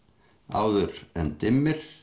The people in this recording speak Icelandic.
áður en dimmir